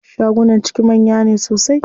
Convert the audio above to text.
Shagunan ciki manya ne sosai.